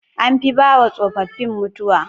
An fi bawa tsofaffin mutuwa